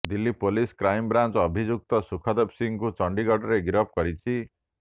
Delhi police crime branch Sukhdev ସୁଖଦେବ ସିଂଙ୍କୁ ଚଣ୍ଡୀଗଡରେ ଗିରଫ କରିଛି